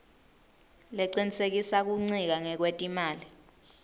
lecinisekisa kuncika ngekwetimali